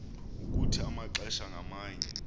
ukuthi amaxesha ngamanye